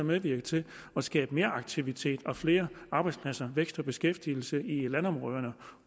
medvirke til at skabe meraktivitet og flere arbejdspladser vækst og beskæftigelse i landområderne